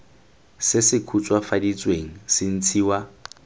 se se khutswafaditsweng se ntshiwa